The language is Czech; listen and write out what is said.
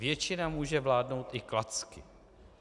Většina může vládnout i klacky.